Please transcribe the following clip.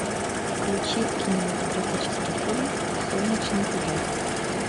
включи кинематографический фильм солнечный удар